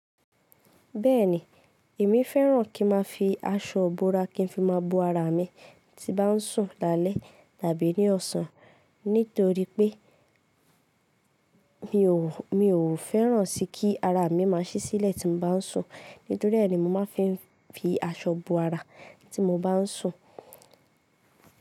Bẹ́ẹ̀ni, èmi fẹ́ràn kí ma fi aṣọ ibora kí n fi má a bo ara mi tí bá ń sùn lálẹ́ tàbí ní ọ̀sán. Nítorí pé mi ò, mi ò fẹ́ràn sí kí ara mi má a ṣí sílẹ̀ tí mo bá ń sùn. Nítorí ẹ́ ni mo ma fi ń fi aṣọ bo ara tí mo bá ń sùn.